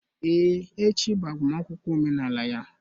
Ee echi bụ agbamakwụkwọ omenala ya